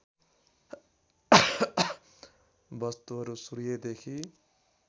वस्तुहरू सूर्यदेखि